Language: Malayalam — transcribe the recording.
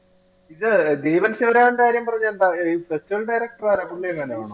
ഇത് ദീപൻ ശിവരാമന്റെ കാര്യം പറഞ്ഞത് എന്താ ഈ festival director ആരാ പുള്ളിയെങ്ങാനും ആണോ